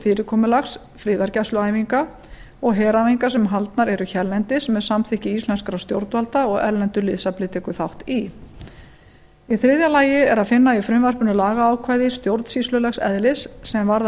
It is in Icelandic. fyrirkomulags friðargæsluæfinga og heræfinga sem haldnar eru hérlendis með samþykki íslenskra stjórnvalda og erlendur liðsafli tekur þátt í í þriðja lagi er að finna í frumvarpinu lagaákvæði stjórnsýslulegs eðlis sem varða